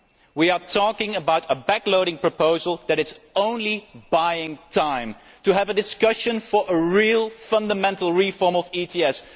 We are talking about a backloading proposal that is only buying time to have a discussion for a real fundamental reform of ETS.